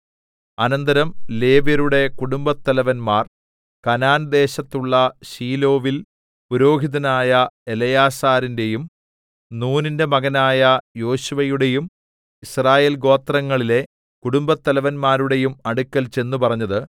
അനന്തരം ലേവ്യരുടെ കുടുംബത്തലവന്മാർ കനാൻ ദേശത്തുള്ള ശീലോവിൽ പുരോഹിതനായ എലെയാസാരിന്റെയും നൂനിന്റെ മകനായ യോശുവയുടെയും യിസ്രായേൽഗോത്രങ്ങളിലെ കുടുംബത്തലവന്മാരുടെയും അടുക്കൽ ചെന്നു പറഞ്ഞത്